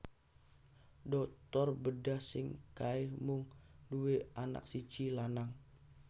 Dokter bedah sing kae mung nduwe anak siji lanang